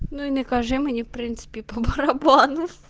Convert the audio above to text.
ну и накажи мне в принципе по барабану